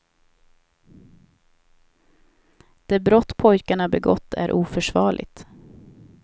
Det brott pojkarna begått är oförsvarligt.